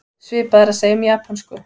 Svipað er að segja um japönsku.